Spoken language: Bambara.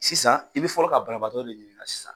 Sisan i bɛ fɔlɔ ka banabaatɔ de ɲiɲinka sisan.